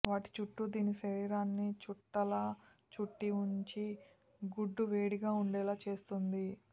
వాటి చుట్టూ దీని శరీరాన్ని చుట్టలా చుట్టి ఉంచి గుడ్లు వేడిగా ఉండేలా చూస్తుంది